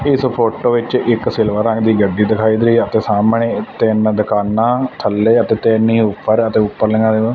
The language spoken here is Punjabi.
ਇਸ ਫੋਟੋ ਵਿੱਚ ਇੱਕ ਸਿਲਵਰ ਰੰਗ ਦੀ ਗੱਡੀ ਦਿਖਾਈ ਦੇ ਰਹੀ ਅਤੇ ਸਾਹਮਣੇ ਤਿੰਨ ਦੁਕਾਨਾਂ ਥੱਲੇ ਅਤੇ ਤਿੰਨ ਹੀ ਉਪਰ ਤੇ ਉਪਰਲੀਆਂ--